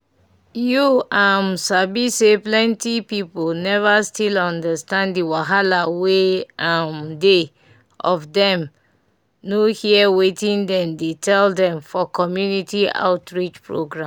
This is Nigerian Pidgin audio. you um sabi say plenty people never still understand the wahala wey um dey of dem no hear wetin dem dey tell dem for community outreach programs